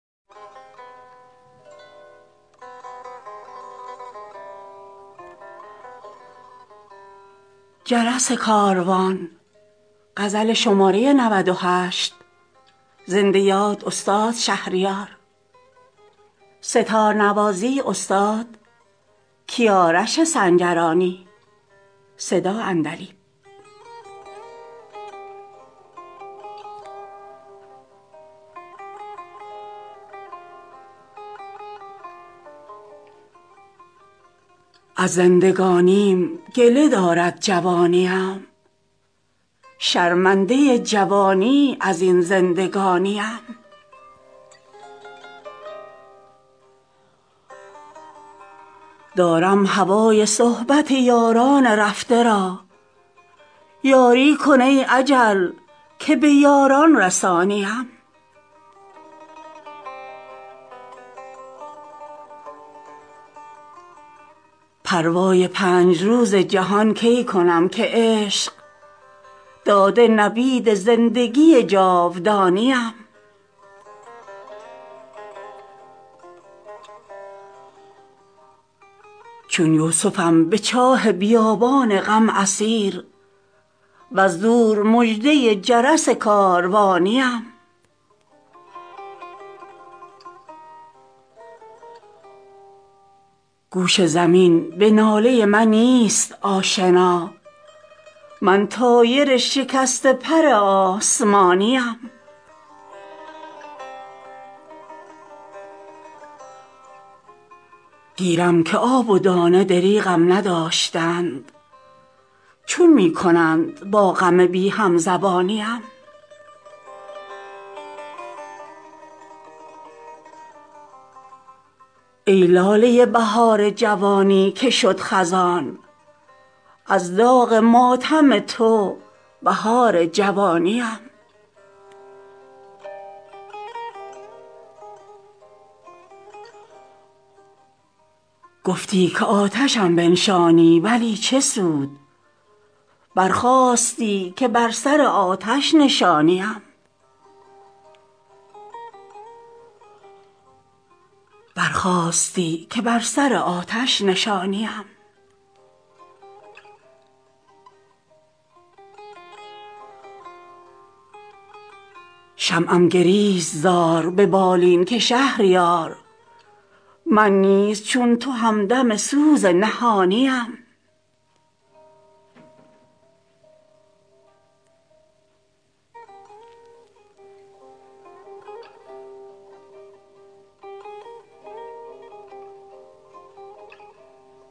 از زندگانی ام گله دارد جوانی ام شرمنده جوانی از این زندگانی ام دور از کنار مادر و یاران مهربان زال زمانه کشت به نامهربانی ام دارم هوای صحبت یاران رفته را یاری کن ای اجل که به یاران رسانی ام پروای پنج روز جهان کی کنم که عشق داده نوید زندگی جاودانی ام چون یوسفم به چاه بیابان غم اسیر وز دور مژده جرس کاروانی ام یک شب کمند گیسوی ابریشمین بتاب ای ماه اگر ز چاه به در می کشانی ام گوش زمین به ناله من نیست آشنا من طایر شکسته پر آسمانی ام گیرم که آب و دانه دریغم نداشتند چون می کنند با غم بی هم زبانی ام ای لاله بهار جوانی که شد خزان از داغ ماتم تو بهار جوانی ام گفتی که آتشم بنشانی ولی چه سود برخاستی که بر سر آتش نشانی ام در خواب زنده ام که تو می خوانی ام به خویش بیداری ام مباد که دیگر نرانی ام شمعم گریست زار به بالین که شهریار من نیز چون تو همدم سوز نهانی ام